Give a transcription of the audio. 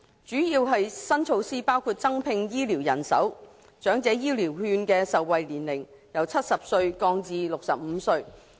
主要的新措施包括增聘醫護人手，以及將長者醫療券的受惠年齡由70歲降至65歲。